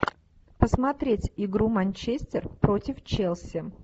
посмотреть игру манчестер против челси